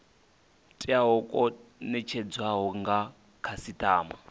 teaho kwo netshedzwaho nga khasitama